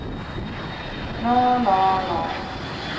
nå nå nå